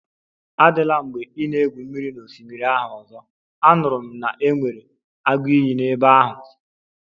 Adịla mgbe ị na-egwu mmiri n'osimiri ahụ ọzọ, anụrụ m na e nwere agụ iyi n'ebe ahụ